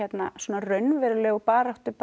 raunverulegu baráttu